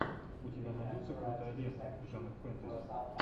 у тебя найдется крутая лента жанр фэнтези